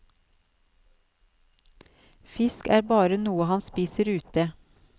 Fisk er bare noe han spiser ute.